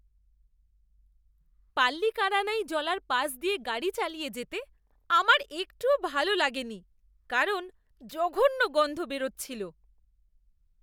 পাল্লিকারানাই জলার পাশ দিয়ে গাড়ি চালিয়ে যেতে আমার একটুও ভালো লাগেনি কারণ জঘন্য গন্ধ বেরচ্ছিল।